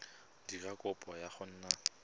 dira kopo ya go nna